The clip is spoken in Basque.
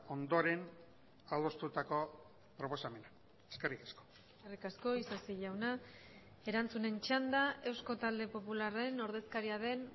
ondoren adostutako proposamena eskerrik asko eskerrik asko isasi jauna erantzunen txanda eusko talde popularren ordezkaria den